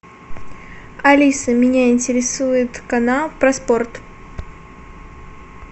алиса меня интересует канал про спорт